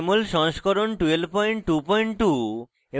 jmol সংস্করণ 1222